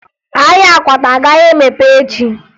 Ahịa akwata agaghị emepe echi